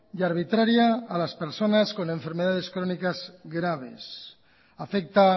y arbitraria a las personas con enfermedades crónicas graves afecta